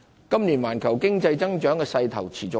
今年環球經濟增長的勢頭持續。